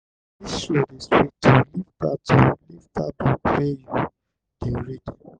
dis show dey sweet o leave dat o leave dat book wey you dey read.